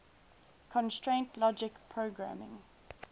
constraint logic programming